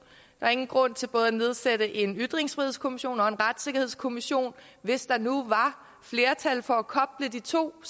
er ingen grund til både at nedsætte en ytringsfrihedskommission og en retssikkerhedskommission hvis der nu var flertal for at koble de to